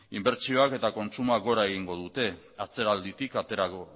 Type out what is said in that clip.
inbertsioak eta kontsumoa gora egingo dute atzeralditik aterako